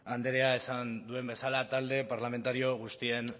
andreak esan duen bezala talde parlamentario guztien